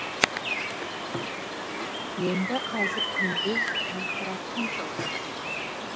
енді қазір күндіз жарқырап күн шығып тұр